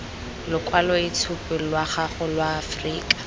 lokwaloitshupu lwa gago lwa aforika